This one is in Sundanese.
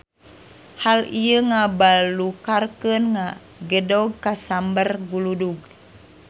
Hal ieu ngabalukarkeun gedong kasamber guludug.